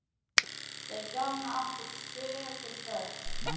Þau hjón áttu fjögur börn.